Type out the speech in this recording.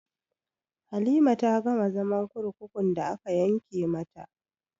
Halima ta gama zaman kurkukun da aka yanke mata